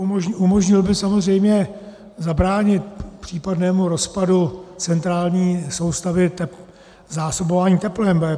Umožnil by samozřejmě zabránit případnému rozpadu centrální soustavy zásobování teplem.